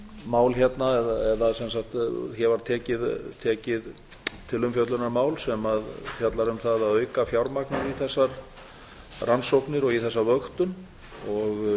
mál hérna eða sem sagt það var tekið til umfjöllunar mál sem fjallar um það að auka fjármagnið í þessar rannsóknir og í þessa vöktun og